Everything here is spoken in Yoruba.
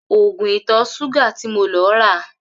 Ògùn ìtò̩-s̩úgà ti mo lo̩ ra